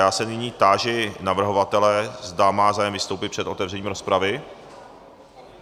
Já se nyní táži navrhovatele, zda má zájem vystoupit před otevřením rozpravy?